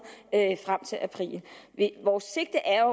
til april vores sigte er